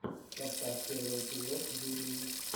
поставь первый эпизод юлии